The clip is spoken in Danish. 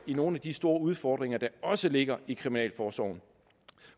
nogle af de store udfordringer der også ligger i kriminalforsorgen